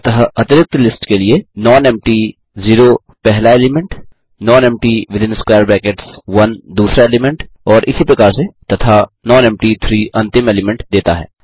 अतः अरिक्त लिस्ट के लिए nonempty0 पहला एलीमेंट nonempty1 दूसरा एलीमेंट और इसी प्रकार से तथा nonempty3 अंतिम एलीमेंट देता है